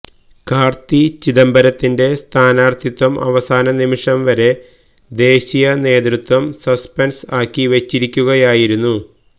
കാര്ത്തി ചിദംബരത്തിന്റെ സ്ഥാനാര്ത്ഥിത്വം അവസാന നിമിഷം വരെ ദേശീയ നേതൃത്വം സസ്പെന്സ് ആക്കി വച്ചിരിക്കുകയായിരുന്നു